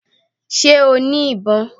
Sé o ní ìbọn?